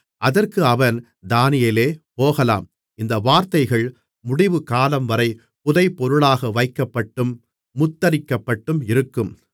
அதற்கு அவன் தானியேலே போகலாம் இந்த வார்த்தைகள் முடிவுகாலம்வரை புதைபொருளாக வைக்கப்பட்டும் முத்திரிக்கப்பட்டும் இருக்கும்